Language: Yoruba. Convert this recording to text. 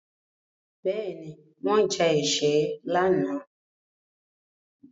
Bẹ́ẹ̀ni, wọ́n ja ẹkẹ lánàá.